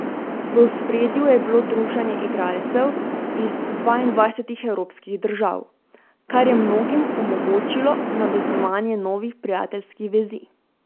V ospredju je bilo druženje igralcev iz dvaindvajsetih evropskih držav, kar je mnogim omogočilo navezovanje novih prijateljskih vezi.